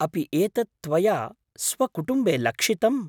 अपि एतत् त्वया स्वकुटुम्बे लक्षितम्?